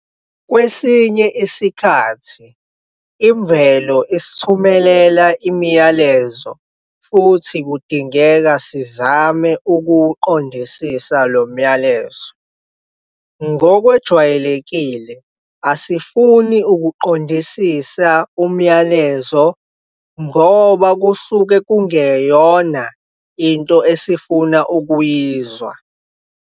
Kwesinya isikhathi Imvelo isithumelela imiyalezo futhi kudingeka sizame ukuwuqondisisa lo myalezo. Ngokwejwayelekile, asifuni ukuqondisisa umyalezo ngoba kusuke kungeyona into esifuna ukuyizwa.